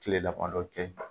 Kile damadɔ cɛ